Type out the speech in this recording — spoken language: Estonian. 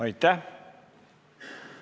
Aitäh!